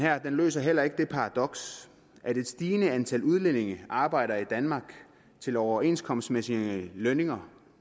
løser heller ikke det paradoks at et stigende antal udlændinge arbejder i danmark til overenskomstmæssige lønninger